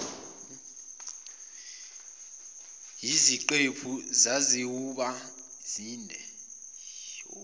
yiziqephu zizawuba zinde